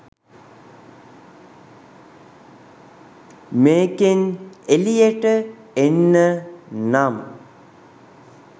මේකෙන් එළියට එන්න නම්